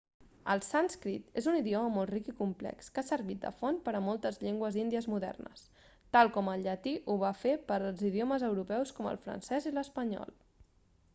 el sànscrit és un idioma molt ric i complex que ha servit de font per a moltes llengües índies modernes tal com el llatí ho va fer per als idiomes europeus com el francès i l'espanyol